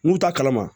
N'u t'a kalama